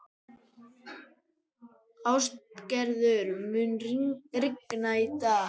Ástgerður, mun rigna í dag?